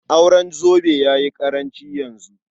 Auren zobe ya yi ƙaranci yanzu.